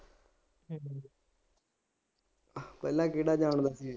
ਪਹਿਲਾਂ ਕਿਹੜਾ ਜਾਣਦਾ ਸੀ